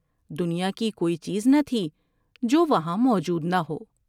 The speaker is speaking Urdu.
دنیا کی کوئی چیز نہ تھی جو وہاں موجود نہ ہو ۔